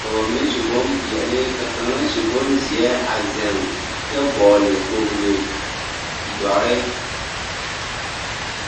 ka ba mine su bompeɛle ka kaŋa su bonzeɛ a zeŋ kyɛ vɔgle kpogli, dɔre.